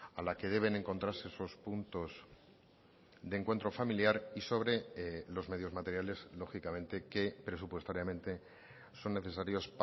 a la que deben encontrarse esos puntos de encuentro familiar y sobre los medios materiales lógicamente que presupuestariamente son necesarios